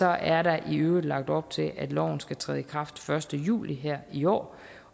er der i øvrigt lagt op til at loven skal træde i kraft første juli her i år